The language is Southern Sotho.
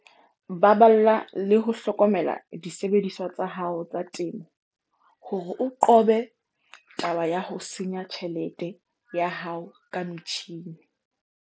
Baballa le ho hlokomela disebediswa tsa hao tsa temo hore o qobe taba ya ho senya tjhelete ya hao ka metjhine.